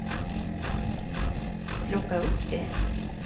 plocka upp det